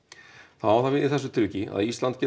þá á það við í þessu tilviki að Ísland gerir